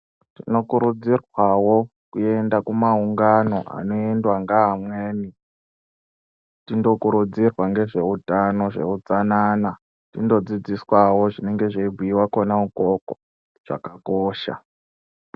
Tinokurudzirwawo kuenda kumaungano anoendwa ngevamweni tindokurudzirwawo zveutano zvetsanana. Tindodzidziswa zvinenge zveibhuyiwa kona ikoko zvakakosha.